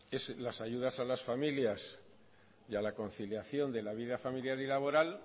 es las ayudas a las familias y a la conciliación de la vida familiar y laboral